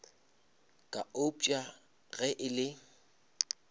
ka eupša ge e le